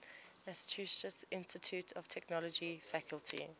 massachusetts institute of technology faculty